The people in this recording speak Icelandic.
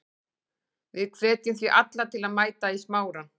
Við hvetjum því alla til að mæta í Smárann.